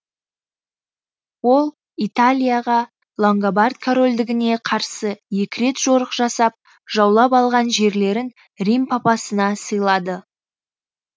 ол италияға лангобард корольдігіне карсы екі рет жорық жасап жаулап алған жерлерін рим папасына сыйлады